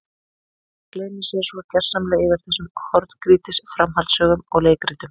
Fólk gleymir sér svo gersamlega yfir þessum horngrýtis framhaldssögum og leikritum.